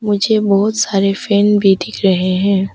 मुझे बहुत सारे फैन भी दिख रहे हैं।